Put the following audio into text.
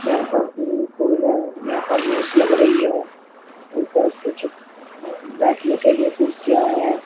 यहां पर swimming pool है यहां पर रेस लग रही है ऊपर कुछ बैठने के लिए कुर्सियां हैं।